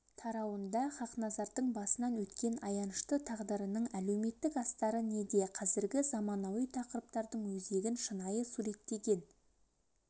тарауында хақназардың басынан өткен аянышты тағдырының әлеуметтік астары неде қазіргі заманауи тақырыптардың өзегін шынайы суреттеген